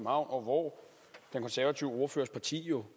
og hvor den konservative ordførers parti jo